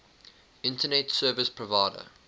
internet service provider